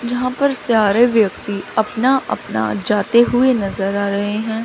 यहां पर सारे व्यक्ति अपना अपना जाते हुए नजर आ रहे हैं।